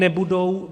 Nebudou.